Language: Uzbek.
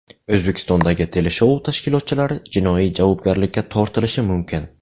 O‘zbekistondagi teleshou tashkilotchilari jinoiy javobgarlikka tortilishi mumkin.